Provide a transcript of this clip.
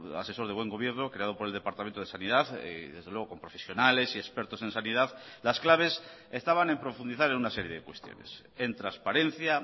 asesor de buen gobierno creado por el departamento de sanidad y desde luego con profesionales y expertos en sanidad las claves estaban en profundizar en una serie de cuestiones en transparencia